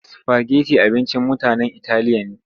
Sifageti abincin mutanen italiya ne.